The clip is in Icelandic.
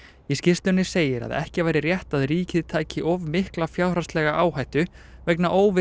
í skýrslunni segir að ekki væri rétt að ríkið tæki of mikla fjárhagslega áhættu vegna óvissu